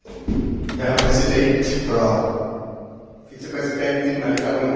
Herr Präsident, Frau Vizepräsidentin, meine Damen und Herren!